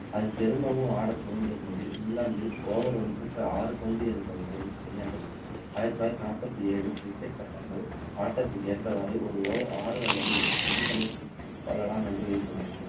அது திரும்பவும் ஆட துவங்கியபோது இங்கிலாந்தில் over ஒன்றுக்கு ஆறு பந்து எண்ற முறையை கையாண்டது ஆயிரத்து தொள்ளாயிரத்து நாற்பத்து ஏழில் cricket சட்டங்கள் ஆட்டத்திற்கு ஏற்றவாறு ஒரு over ஆறு அல்லது எட்டு பந்துகளை போடலாம் என்று விதித்தனர்